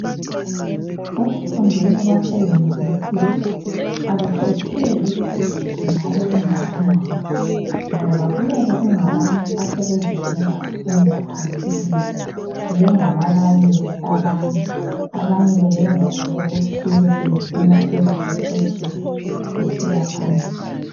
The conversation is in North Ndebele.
Ekufundeni kwase Yunivesithi akukhetheli ukuthi ungaba ungakanani ngoba kuyabe kungabantu asebevele bafunda phambilini bengababalisi abanye abanye beyenza nje okuthile sebefuna ukuzi qeqetshisa besiya phambili.